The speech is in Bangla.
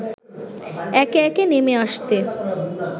একে একে নেমে আসতে